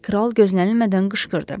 Kral gözlənilmədən qışqırdı.